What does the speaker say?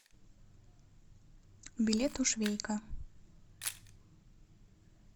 билет у швейка